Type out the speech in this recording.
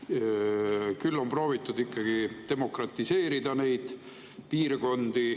On proovitud neid piirkondi demokratiseerida.